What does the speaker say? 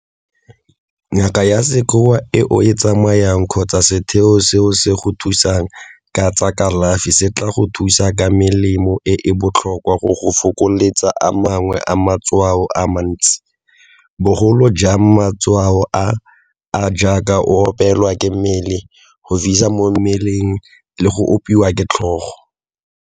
Ngaka ya sekgowa e o e tsamayang kgotsa setheo seo se go thusang ka tsa kalafi se tla go thusa ka melemo e e botlhokwa go go fokoletsa a mangwe a matshwao a mantsi, bogolo jang matshwao a a jaaka go opelwa ke mmele, go fisa mo mmeleng le go opiwa ke tlhogo.